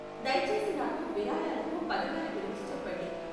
దయచేసి నాకు విరాళాలకు పథకాల గురించి చెప్పండి.